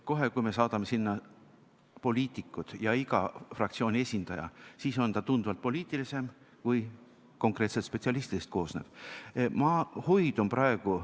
Kohe, kui me saadame sinna poliitikud ja iga fraktsiooni esindaja, siis on ta tunduvalt poliitilisem kui konkreetselt spetsialistidest koosnev nõukogu.